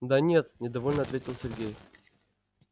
да нет недовольно ответил сергей